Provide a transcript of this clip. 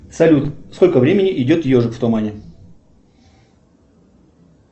салют сколько времени идет ежик в тумане